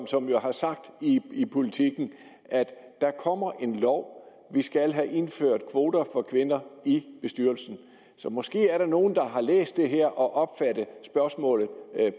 som jo har sagt i politiken at der kommer en lov og vi skal have indført kvoter for kvinder i bestyrelser måske er der nogle der har læst det her og opfattet spørgsmålet